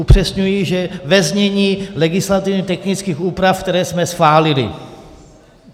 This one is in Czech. Upřesňuji, že ve znění legislativně technických úprav, které jsme schválili.